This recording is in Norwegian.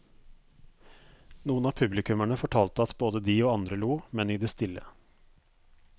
Noen av publikummerne fortalte at både de og andre lo, men i det stille.